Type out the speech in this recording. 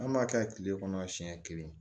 An b'a kɛ tile kɔnɔ siɲɛ kelen